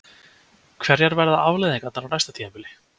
Hverjar verða afleiðingarnar á næsta tímabili?